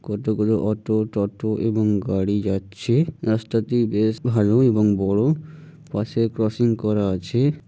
কতগুলো অটো টোটা এবং গাড়ি যাচ্ছে। রাস্তা টি বেশ ভালো এবং বড়। পাশে ক্রসিং করা আছে।